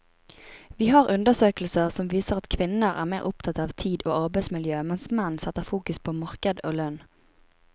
Vi har undersøkelser som viser at kvinner er mer opptatt av tid og arbeidsmiljø, mens menn setter fokus på marked og lønn.